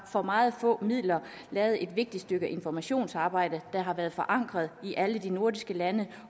for meget få midler har lavet et vigtigt stykke informationsarbejde der har været forankret i alle de nordiske lande